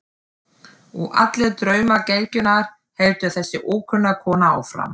Og allir draumar gelgjunnar, heldur þessi ókunna kona áfram.